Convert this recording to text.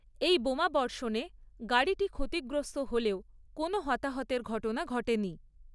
এই বোমাবর্ষণে গাড়িটি ক্ষতিগ্রস্ত হলেও কোনো হতাহতের ঘটনা ঘটেনি।